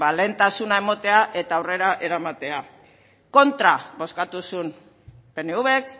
lehentasuna emotea eta aurrera eramatea kontra bozkatu zuen pnvk